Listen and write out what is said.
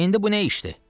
İndi bu nə işdir?